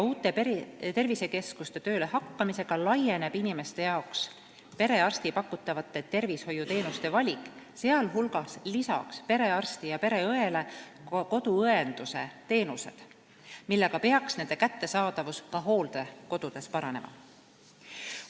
Uute tervisekeskuste töölehakkamisega laieneb inimeste jaoks perearsti pakutavate tervishoiuteenuste valik, sh lisanduvad perearstile ja pereõele koduõenduse teenused, seega peaks nende kättesaadavus ka hooldekodudes paranema.